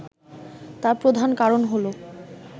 তার প্রধান কারণ হলো